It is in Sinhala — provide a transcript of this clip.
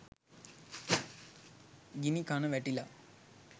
ගිණිකන වැටිලා